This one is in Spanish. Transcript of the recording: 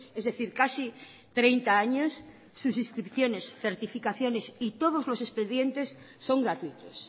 es decir casi treinta años sus inscripciones certificaciones y todos los expedientes son gratuitos